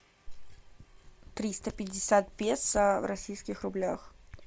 триста пятьдесят песо в российских рублях